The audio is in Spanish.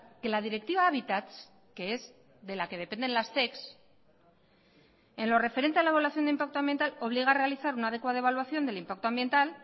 que la directiva habitats que es de la que dependen las zec en lo referente a la evaluación de impacto ambiental obliga a realizar una adecuada evaluación del impacto ambiental